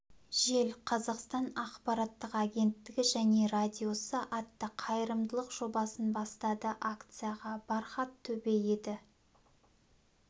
жел қазақстан ақпараттық агенттігі және радиосы атты қайырымдылық жобасын бастады акцияға бархат төбе еті